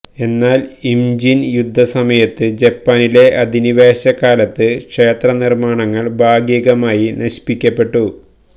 എന്നാൽ ഇംജിൻ യുദ്ധസമയത്ത് ജപ്പാനിലെ അധിനിവേശ കാലത്ത് ക്ഷേത്രനിർമ്മാണങ്ങൾ ഭാഗികമായി നശിപ്പിക്കപ്പെട്ടു